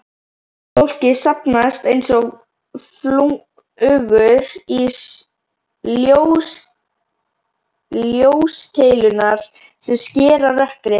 Fólkið safnast einsog flugur í ljóskeilurnar sem skera rökkrið.